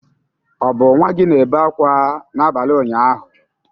Ọ bụ nwa gị na-ebe akwa n'abalị ụnyaahụ?